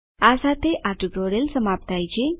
આ સાથે આ ટ્યુટોરીયલ સમાપ્ત થાય છે